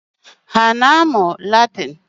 Ha ana-amụ Latịnị?